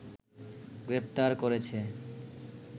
গ্রেফতার করেছে